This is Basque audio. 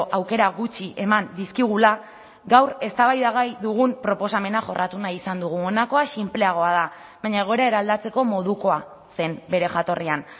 aukera gutxi eman dizkigula gaur eztabaidagai dugun proposamena jorratu nahi izan dugu honakoa sinpleagoa da baina egoera eraldatzeko modukoa zen bere jatorrian